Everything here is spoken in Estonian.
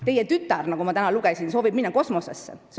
Teie tütar, nagu ma täna lugesin, soovib minna kosmosesse.